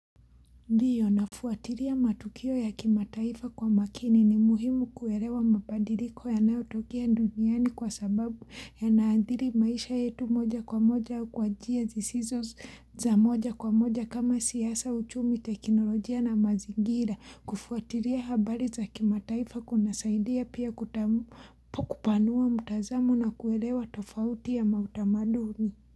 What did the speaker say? Ndiyo nafuatilia matukio ya kimataifa kwa makini ni muhimu kuelewa mabadiliko yanayotokea duniani kwa sababu y naandhiri maisha yetu moja kwa moja kwa njia zisizo za moja kwa moja kama siasa, uchumi teknolojia na mazingira. Kufuatilia habari za kimataifa kuna saidia pia kupanua mtazamo na kuelewa tofauti ya mautamaduni.